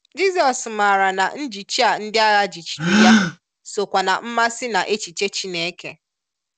Jizọs maara na njichi a ndị agha jichiri Ya so kwa na mmasị na echiche Chineke.